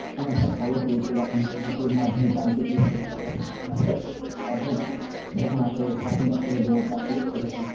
কোন একটা খবর পেয়েছে বা কোনরকম কিছুর মাধ্যমে জানতে পেরেছে যে এখানে এরকম ঘটনা ঘটেছে, তারপরে তখন যখন আসে স্বাস্থ্য দপ্তরের লোক বা police প্রশাসন